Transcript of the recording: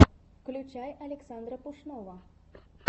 включай александра пушного